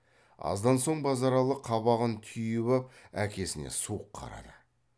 аздан соң базаралы қабағын түйіп ап әкесіне суық қарады